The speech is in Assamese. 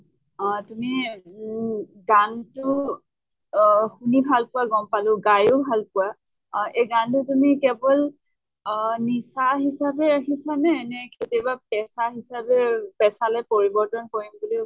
অ তুমি উম গানতো অহ শুনি ভাল পোৱা গম পালো, গাইয়ো ভাল পোৱা। অহ এই গানতো তুমি কেৱল অহ নিচা হিচাপে ৰাখিছা নে কেতিয়াবা পেচা হিচাপেও পেচা লৈ পৰিৱৰ্তন কৰিম বুলি ভাবিছা বাৰু?